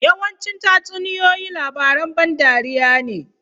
Yawancin tatsuniyoyi labaran ban dariya ne.